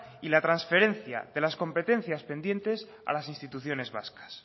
y la transferencia de las competencias pendientes a las instituciones vascas